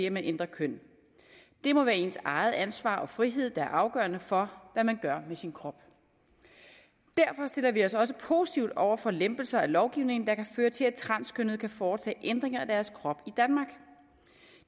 at man ændrer køn det må være ens eget ansvar og frihed der er afgørende for hvad man gør ved sin krop derfor stiller vi os også positivt over for lempelser af lovgivningen der kan føre til at transkønnede kan foretage ændringer af deres krop